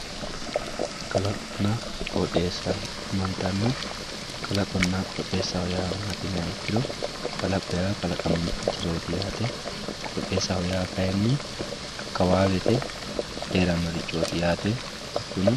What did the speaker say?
kalaqonna qooxeessa yaamantanno kalaqonna qooxeessaho yaa maati yiniha ikkiro kalaqo yaa kalaqamu jirooti yaate qooxeessaho ya kayinni akkawaawete heerannoho yaate hakkuno